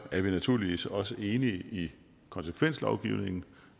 er vi naturligvis også enige i konsekvenslovgivningen